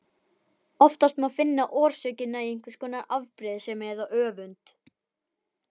Oftast má finna orsökina í einhvers konar afbrýðisemi eða öfund.